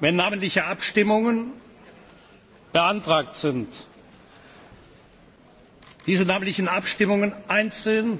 wenn namentliche Abstimmungen beantragt sind, diese namentlichen Abstimmungen einzeln zur Abstimmung stellen.